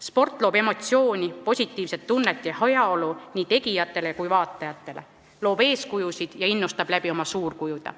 Sport annab emotsioone, positiivset tunnet ja heaolu nii tegijatele kui vaatajatele, loob eeskujusid ja innustab oma suurkujudega.